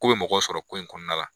Ko be mɔgɔw sɔrɔ ko in kɔnɔna la